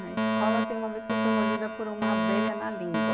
Na escola tem uma vez que eu fui mordida por uma abelha na língua.